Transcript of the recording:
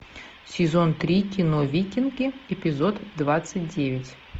сезон три кино викинги эпизод двадцать девять